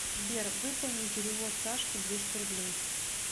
сбер выполни перевод сашке двести рублей